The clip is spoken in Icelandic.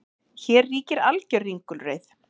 Hér ríkir alger ringulreið